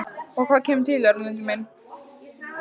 Og hvað kemur til, Erlendur minn?